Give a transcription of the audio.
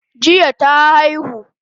Jiya ta aihu